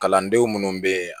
Kalandenw minnu bɛ yen